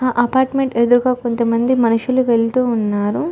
ఆ అపార్ట్మెంట్ ఎదురుగా కొంత మంది మనుసులు వెళ్తూ ఉన్నారు .